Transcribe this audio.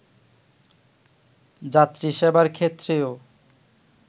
যাত্রী সেবার ক্ষেত্রেও